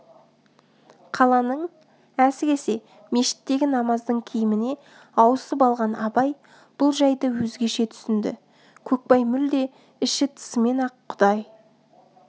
қаланың әсіресе мешіттегі намаздың киіміне ауысып алған абай бұл жайды өзгеше түсінді көкбай мүлде іші-тысымен-ақ құдай